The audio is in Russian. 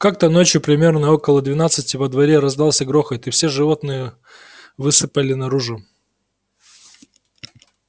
как-то ночью примерно около двенадцати во дворе раздался грохот и все животные высыпали наружу